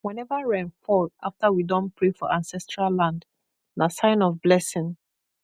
whenever rain fall after we don pray for ancestral land na sign of blessing